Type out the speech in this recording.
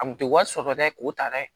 A kun tɛ wari sɔrɔ dɛ k'o ta dɛ